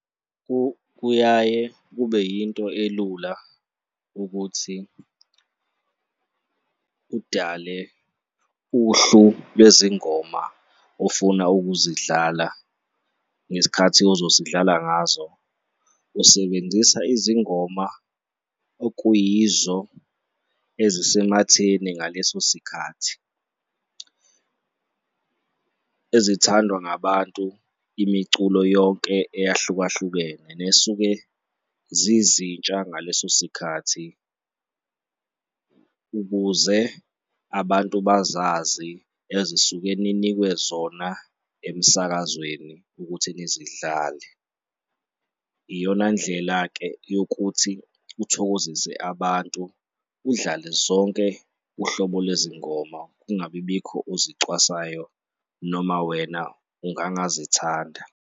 Kuyaye kube yinto elula ukuthi udale uhlu lwezingoma ofuna ukuzidlala ngesikhathi ozosidlala ngazo. Usebenzisa izingoma okuyizo ezisematheni ngaleso sikhathi, ezithandwa ngabantu, imiculo yonke eyahlukahlukene nesuke zizintsha ngaleso sikhathi ukuze abantu bazazi ezisuke ninikwe zona emsakazweni ukuthi nizidlale. Iyona ndlela-ke yokuthi uthokozise abantu, udlale zonke uhlobo lwezingoma kungabi bikho ozicwasayo noma wena ungangazithanda.